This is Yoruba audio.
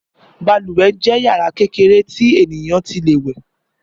Bàlùwẹ̀ jẹ́ yàrá kékeré tí ènìyàn ti lè wẹ̀